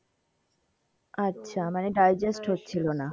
আচ্ছা মানে digest হচ্ছিলো না,